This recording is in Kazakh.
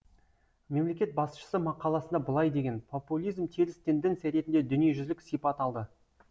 мемлекет басшысы мақаласында былай деген популизм теріс тенденция ретінде дүниежүзілік сипат алды